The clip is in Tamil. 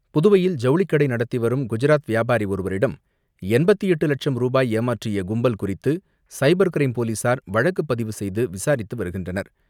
புதுவையில் ஜவுளிக்கடை நடத்தி வரும் குஜராத் வியாபாரி ஒருவரிடம் எண்பத்து எட்டு லட்சம் ருபாய் ஏமாற்றிய கும்பல் குறித்து சைபர் கிரைம் போலீசார் வழக்கு பதிவு செய்து விசாரித்து வருகின்றனர்.